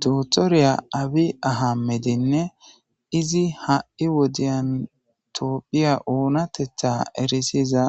dootoriya abi ahamedinne izi ha7i wodiyntoophiya oonatetha erisiza